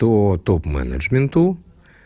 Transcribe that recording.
то топ менеджменту